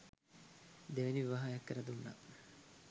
දෙවැනි විවාහයක් කරදුන්නා